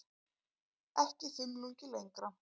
Ekki þumlungi lengra.